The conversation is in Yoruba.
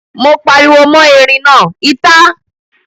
Mo pariwo mọ́ erin náà, ìta!